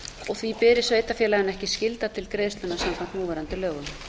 og því beri sveitarfélaginu ekki skylda til greiðslunnar samkvæmt núverandi lögum